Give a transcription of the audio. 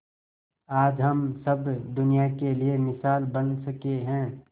आज हम सब दुनिया के लिए मिसाल बन सके है